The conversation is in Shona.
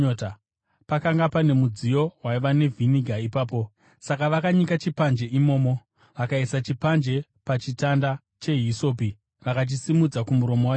Pakanga pane mudziyo waiva nevhiniga ipapo, saka vakanyika chipanje imomo, vakaisa chipanje pachitanda chehisopi, vakachisimudzira kumuromo waJesu.